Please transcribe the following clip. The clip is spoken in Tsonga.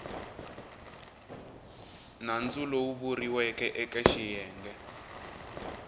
nandzu lowu vuriweke eke xiyenge